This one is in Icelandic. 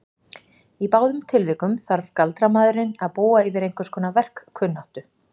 Í báðum tilvikum þarf galdramaðurinn að búa yfir einhverskonar verkkunnáttu.